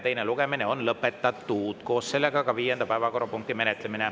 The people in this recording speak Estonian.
Teine lugemine on lõpetatud ja koos sellega on lõppenud ka viienda päevakorrapunkti menetlemine.